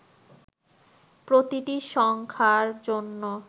প্রতিটি সংখার জন্য